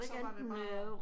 Så var det bare